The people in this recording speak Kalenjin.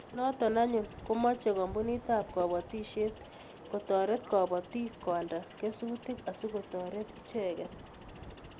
Noto anyun komochei kampunitab kobotisiet kotoret kobotik koalda kesutik asikotoret icheget